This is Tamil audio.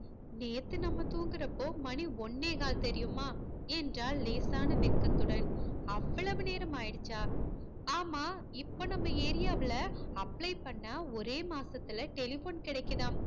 நேத்து நம்ம தூங்குரப்போ மணி ஓன்னே கால் தெரியுமா என்றாள் லேசான வெட்க்கத்துடன் அவ்வளவு நேரமாயிடிச்சா ஆமா இப்ப நம்ம ஏரியாவ்ல apply பண்ண ஒரே மாசத்துலே telephone கிடைக்குதாம்